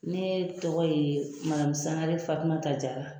Ne tɔgɔ ye Sangare Fatumata Jara.